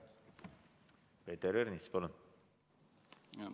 Peeter Ernits, palun!